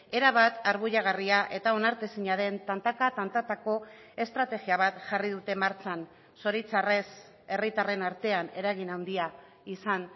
erabat arbuiagarria eta onartezina den tantaka tantatako estrategia bat jarri dute martxan zoritzarrez herritarren artean eragin handia izan